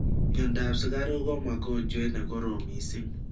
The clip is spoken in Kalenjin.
Mnyondop sugaruk �ko mogonjwet nekorom missing